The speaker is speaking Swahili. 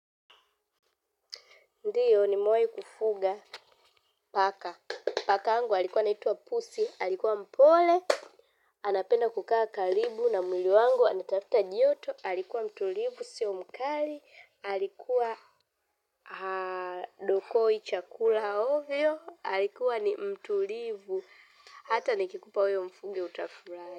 Ndiyo nimewai kufuga paka, paka yangu alikuwa anaitwa pusi, alikuwa mpole, anapenda kukaa karibu na mwili wangu, anatafuta joto, alikuwa mtulivu, siyo mkali, alikuwa dokoi chakula ovyo, alikuwa ni mtulivu, hata nikikupa wewe umfuge utafurahi.